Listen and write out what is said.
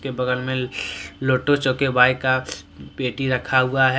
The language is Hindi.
बगल में लोटो चोको बाइक का पेटी रखा हुआ है।